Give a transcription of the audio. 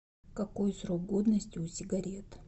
какой срок годности у сигарет